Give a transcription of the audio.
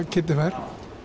Kiddi fær